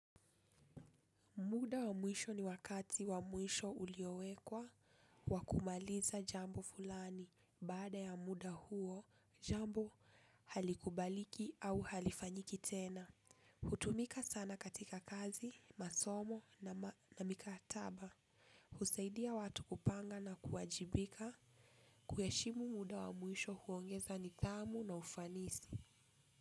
Muda wa muisho ni wakati wa muisho uliowekwa wakumaliza jambo fulani bada ya muda huo jambo halikubaliki au halifanyiki tena. Hutumika sana katika kazi, masomo na mikataba. Huseidia watu kupanga na kuwajibika kuyeshimu muda wa muisho huongeza nitamu na ufanisi.